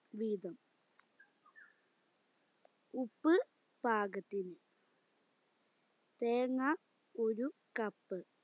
വീതം ഉപ്പ് പാകത്തിന് തേങ്ങാ ഒര് cup